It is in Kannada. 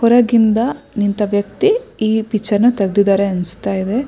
ಹೊರಗಿಂದ ಇಂಥ ವ್ಯಕ್ತಿ ಈ ಪಿಕ್ಚರ್ ನ ತೆಗೆದಿದ್ದಾರೆ ಅನ್ನಿಸ್ತಾ ಇದೆ.